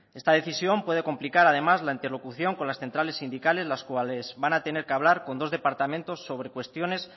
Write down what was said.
esta decisión puede complicar además la interlocución con las centrales sindicales las cuales van a tener que hablar con dos departamentos sobre cuestiones